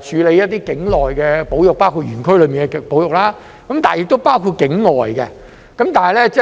處理一些境內的保育，包括園區內的保育，並且包括境外的保育。